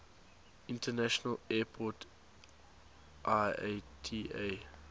international airport iata